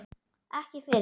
Ekki fyrr?